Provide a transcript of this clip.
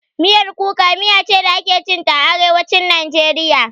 Miyar kuka miya ce da ake cin ta a Arewacin Najeriya.